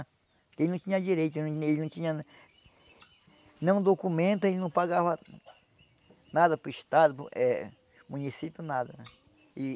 Porque ele não tinha direito, ele não tinha... Não documenta, ele não pagava nada para o estado, para o eh município, nada. E